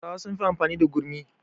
Hausawa sun fi amfani da gurmi